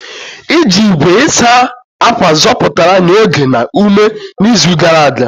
Iji igwe ịsa ákwà zọpụtara anyị oge na ume n'izu gara aga.